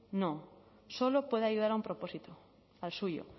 no solo puede ayudar a un propósito al suyo